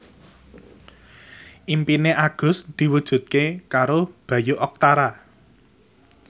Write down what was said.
impine Agus diwujudke karo Bayu Octara